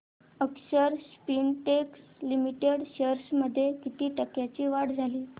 अक्षर Spintex Limited shares मध्ये किती टक्क्यांची वाढ झाली